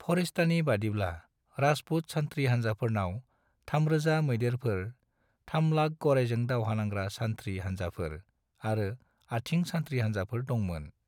फरिश्तानि बादिब्ला, राजपुत सान्थ्रि हान्जाफोरनाव 3,000 मैदेरफोर, 300,000 गराइजों दावहा नांग्रा सान्थ्रि हानजाफोर आरो आथिं सान्थ्रि हान्जाफोर दंमोन।